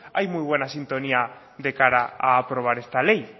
hay muy buena sintonía de cara aprobar esta ley